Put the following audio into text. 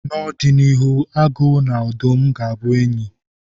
N'ọdịnihu, agụ na odụm ga-abụ enyi.